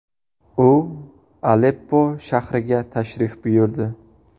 U Aleppo shahriga tashrif buyurdi.